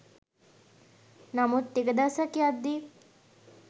නමුත් ටික දවසක් යද්දී